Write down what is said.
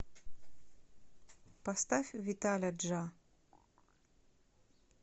поставь виталя джа